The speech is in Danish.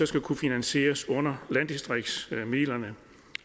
så kunne finansieres under landdistriktsmidlerne